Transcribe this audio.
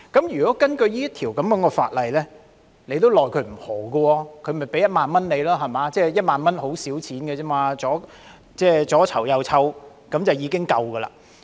如果根據這項法例，當局也沒奈何，團體也只須支付1萬元 ，1 萬元只是很少錢，左右籌措便已可夠數。